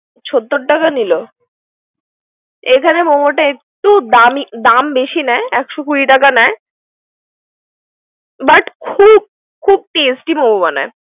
সত্তর টাকা নিলো। এখানে মেমোটা একটু দামি দাম বেশি নেয়। একশো কুড়ি টাকা নেয়। but খূব খুব tasty মোমো বানায়।